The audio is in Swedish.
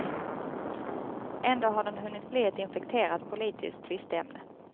Ändå har den hunnit bli ett infekterat politiskt tvisteämne.